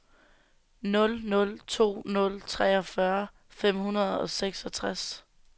nul nul to nul treogfyrre fem hundrede og seksogtres